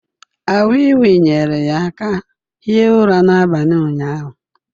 A wii wii nyere ya aka hie ụra n’abalị ụnyahụ